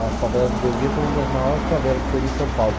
A favela do Vergueiro foi uma das maiores favela que teve em São Paulo.